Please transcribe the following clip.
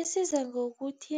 Isiza ngokuthi